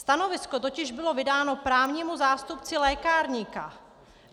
Stanovisko totiž bylo vydáno právnímu zástupci lékárníka.